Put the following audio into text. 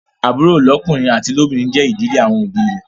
Àbúrò lọ́kùnrin àti lóbìnrin jé ìdílé àwọn òbí ì rẹ.